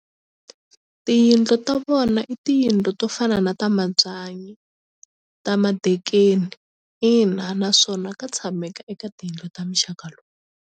Tiyindlu ta vona i tiyindlu to fana na ta mabyanyi ta madekeni ina naswona ka tshameka eka tiyindlu ta muxaka lowu.